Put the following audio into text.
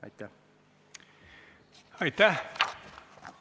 Aitäh!